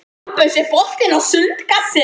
Bambus, er bolti á sunnudaginn?